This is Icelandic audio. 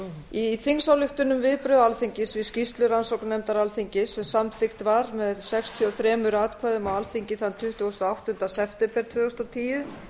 í þingsályktun um viðbrögð alþingis við skýrslu rannsóknarnefndar alþingis sem samþykkt var með sextíu og þremur atkvæðum á alþingi þann tuttugasta og áttunda september tvö þúsund og tíu